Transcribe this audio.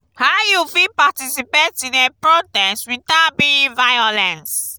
how you fit participate in a protest without being violence?